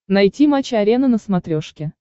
найти матч арена на смотрешке